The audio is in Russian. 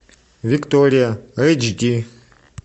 виктория эйчди